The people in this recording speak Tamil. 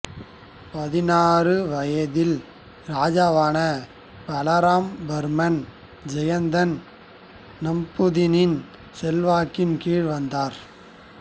பதினாறு வயதில் இராஜாவான பலராம வர்மன் ஜெயந்தன் நம்பூதிரியின் செல்வாக்கின் கீழ் வந்தார்